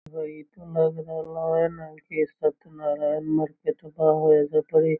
इ ता लग रहला हेय ना की सत्यनारायण कथा होई एजा पर इ।